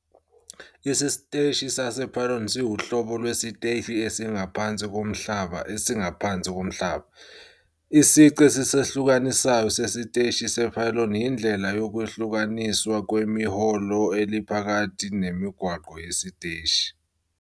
Isiteshi sase-pylon siwuhlobo lwesiteshi esingaphansi komhlaba esingaphansi komhlaba. Isici esisehlukanisayo sesiteshi se-pylon yindlela yokwehlukaniswa kwehholo eliphakathi nemigwaqo yesiteshi.